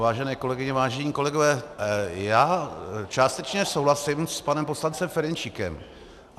Vážené kolegyně, vážení kolegové, já částečně souhlasím s panem poslancem Ferjenčíkem.